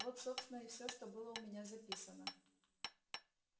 вот собственно и все что было у меня записано